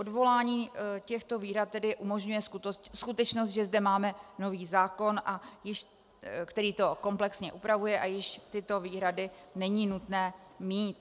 Odvolání těchto výhrad tedy umožňuje skutečnost, že zde máme nový zákon, který to komplexně upravuje, a již tyto výhrady není nutné mít.